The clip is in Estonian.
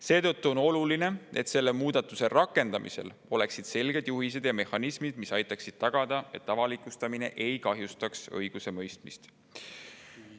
Seetõttu on oluline, et selle muudatuse rakendamisel oleksid selged juhised ja mehhanismid, mis aitaksid tagada, et avalikustamine ei kahjustaks õigusemõistmist.